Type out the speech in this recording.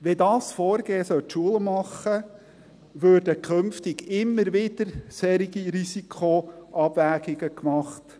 Sollte dieses Vorgehen Schule machen, würden künftig immer wieder solche Risikoabwägungen gemacht.